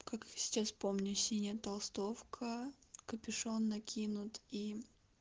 как сейчас помню синяя толстовка капюшон накинут и